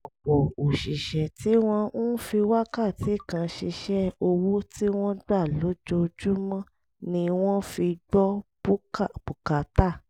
ọ̀pọ̀ òṣìṣẹ́ tí wọ́n ń fi wákàtí kan ṣiṣẹ́ owó tí wọ́n gbà lójoojúmọ́ ni wọ́n fi gbọ́ bùkátà